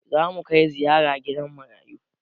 Zamu kai ziyara gidan marayu